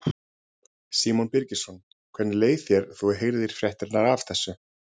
Símon Birgisson: Hvernig leið þér þegar þú heyrðir fréttirnar af þessu?